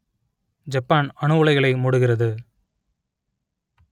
Japan அணு உலைகளை மூடுகிறது